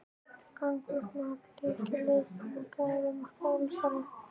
Gagnvirkt mat: Lykill að auknum gæðum í skólastarfi?